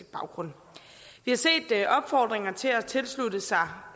baggrund vi har set opfordringer til at tilslutte sig